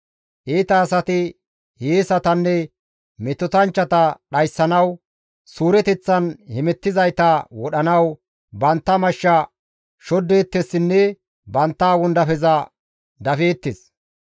Iita asati hiyeesatanne metotanchchata dhayssanawu, suureteththan hemettizayta wodhanawu bantta mashsha shoddeettessinne bantta wondafeza dafeettes.